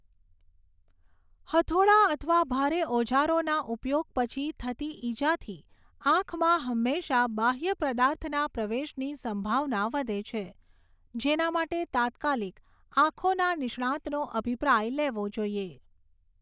હથોડા અથવા ભારે ઓજારોના ઉપયોગ પછી થતી ઈજાથી આંખમાં હંમેશાંં બાહ્ય પદાર્થના પ્રવેશની સંભાવના વધે છે, જેના માટે તાત્કાલિક આંખોના નિષ્ણાંતનો અભિપ્રાય લેવો જોઈએ.